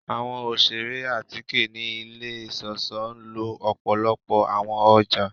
Awọn oṣere atike ni ile iṣọṣọ nlo ọpọlọpọ awọn ọja